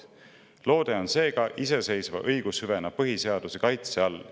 Loode on seega iseseisva õigushüvena põhiseaduse kaitse all.